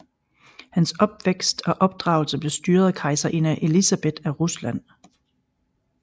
Hans opvækst og opdragelse blev styret af kejserinde Elisabeth af Rusland